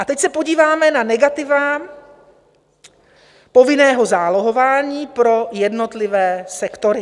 A teď se podíváme na negativa povinného zálohování pro jednotlivé sektory.